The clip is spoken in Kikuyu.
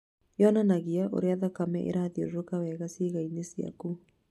yonanagia ũrĩa thakame arathiũrũrũka wega ciĩga-inĩ ciaku.